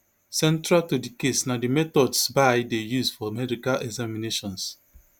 central to di case na di methods bye dey use for medical examinations